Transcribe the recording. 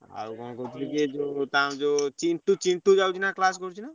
ଆଉ କଣ କହୁଥିଲି କି ଏ ଯୋଉ ତାର ଯୋଉ ଚିଣ୍ଟୁ ଚିଣ୍ଟୁ ଯାଉଛି ନା class କରୁଚି ନା?